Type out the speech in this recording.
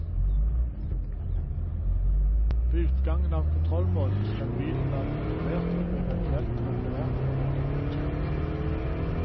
Ved utgangen av kontrollmåneden skal bilen være kontrollert og eventuelt reparert før den blir godkjent.